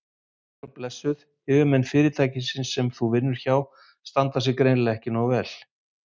Sæl og blessuð, yfirmenn fyrirtækisins sem þú vinnur hjá standa sig greinilega ekki nógu vel.